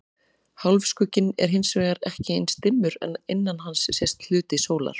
Hálfskugginn er hins vegar ekki eins dimmur en innan hans sést hluti sólar.